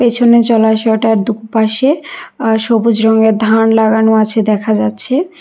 পিছনে জলাশয়টার দু পাশে আ সবুজ রঙের ধান লাগানো আছে দেখা যাচ্ছে।